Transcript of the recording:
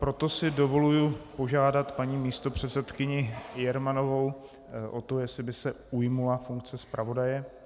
Proto si dovoluji požádat paní místopředsedkyni Jermanovou o to, jestli by se ujmula funkce zpravodaje.